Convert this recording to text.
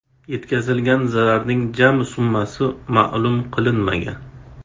Yetkazilgan zararning jami summasi ma’lum qilinmagan.